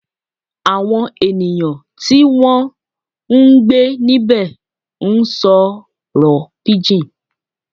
Àwọn ènìyàn tí wọ́n ń gbé níbẹ̀ ń sọ̀rọ̀ pidgin